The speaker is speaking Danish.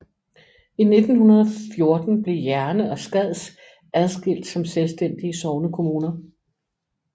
I 1914 blev Jerne og Skads adskilt som selvstændige sognekommuner